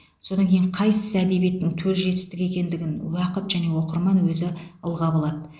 содан кейін қайсысы әдебиеттің төл жетістігі екендігін уақыт және оқырман өзі ылғап алады